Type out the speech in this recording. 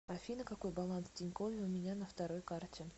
афина какой баланс в тинькове у меня на второй карте